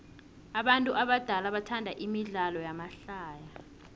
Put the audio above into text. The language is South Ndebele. abantu abadala bathanda imidlalo yamahlaya